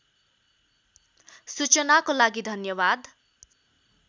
सूचनाको लागि धन्यवाद